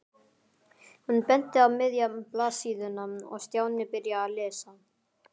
Hún benti á miðja blaðsíðuna og Stjáni byrjaði að lesa.